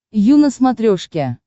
ю на смотрешке